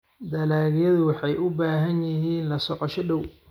Dalagyadu waxay u baahan yihiin la socosho dhow.